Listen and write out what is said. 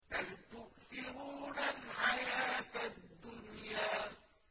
بَلْ تُؤْثِرُونَ الْحَيَاةَ الدُّنْيَا